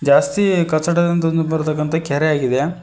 ರಸ್ತೆಯ ಕಚಡವೆಂದು ಬರದಕ್ಕಂತ ಕೆರೆ ಆಗಿದೆ.